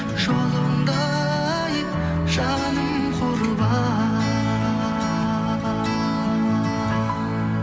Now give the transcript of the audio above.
жолыңда ай жаным құрбан